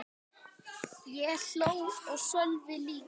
Ég hló og Sölvi líka.